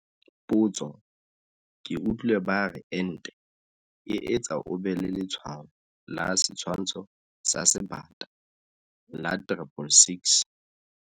Potso, ke utlwile ba re ente e etsa o be le letshwao la setshwantsho sa Sebata - la 666.